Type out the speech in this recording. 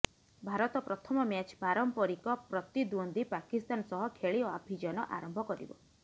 ଭାରତ ପ୍ରଥମ ମ୍ୟାଚ୍ ପାରମ୍ପରିକ ପ୍ରତିଦ୍ୱନ୍ଦୀ ପାକିସ୍ତାନ ସହ ଖେଳି ଆଭିଯାନ ଆରମ୍ଭ କରିବ